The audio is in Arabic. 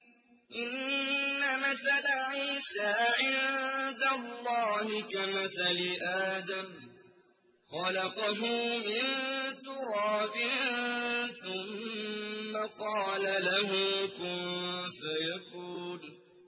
إِنَّ مَثَلَ عِيسَىٰ عِندَ اللَّهِ كَمَثَلِ آدَمَ ۖ خَلَقَهُ مِن تُرَابٍ ثُمَّ قَالَ لَهُ كُن فَيَكُونُ